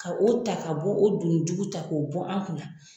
Ka o ta ka bɔ o duni jugu ta k'o bɔ an kunna.